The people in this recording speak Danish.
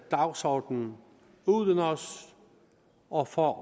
dagsordenen uden os og for